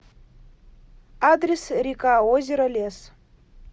адрес рекаозеролес